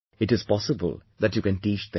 It is possible that you can teach them